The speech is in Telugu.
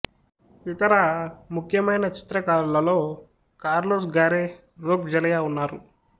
ఇతర ముఖ్యమైన చిత్రకారులలో కార్లొస్ గారే రోక్ జెలయా ఉన్నారు